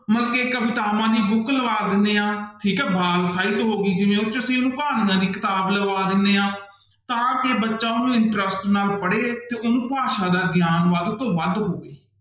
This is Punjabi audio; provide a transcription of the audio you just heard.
ਕਵਿਤਾਵਾਂ ਦੀ book ਲਵਾ ਦਿੰਦੇ ਹਾਂ ਠੀਕ ਹੈ ਵਾਕ ਸਾਹਿਤ ਹੋ ਗਈ ਜਿਵੇਂ ਉਹ ਚ ਅਸੀਂ ਉਹਨੂੰ ਦੀ ਕਿਤਾਬ ਲਗਵਾ ਦਿੰਦੇ ਹਾਂ ਤਾਂ ਕਿ ਬੱਚਾ ਉਹਨੂੰ interest ਨਾਲ ਪੜ੍ਹੇ ਤੇ ਉਹਨੂੰ ਭਾਸ਼ਾ ਦਾ ਗਿਆਨ ਵੱਧ ਤੋਂ ਵੱਧ ਹੋਵੇ।